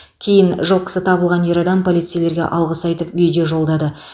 кейін жылқысы табылған ер адам полицейлерге алғыс айтып видео жолдады